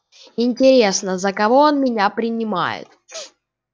интересно за кого он меня принимает